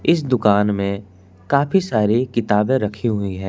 इस दुकान में काफी सारी किताबें रखे हुए हैं।